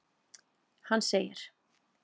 Hann segir:.